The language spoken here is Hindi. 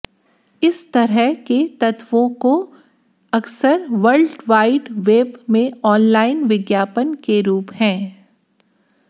इस तरह के तत्वों को अक्सर वर्ल्ड वाइड वेब में ऑनलाइन विज्ञापन के रूप हैं